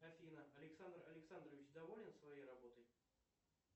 афина александр александрович доволен своей работой